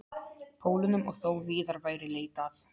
Pólunum og þó víðar væri leitað.